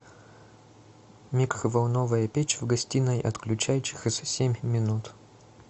микроволновая печь в гостиной отключай через семь минут